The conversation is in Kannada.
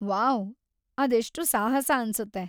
ವಾವ್!‌ ಅದೆಷ್ಟು ಸಾಹಸ ಅನ್ಸುತ್ತೆ.